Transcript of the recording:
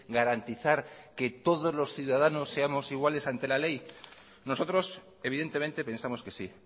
garantizar que todos los ciudadanos seamos iguales ante la ley nosotros evidentemente pensamos que sí